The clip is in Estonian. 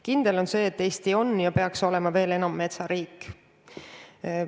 Kindel on see, et Eesti on ja peaks veel enam olema metsariik.